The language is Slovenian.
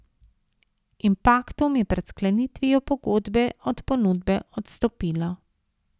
Impaktum je pred sklenitvijo pogodbe od ponudbe odstopilo.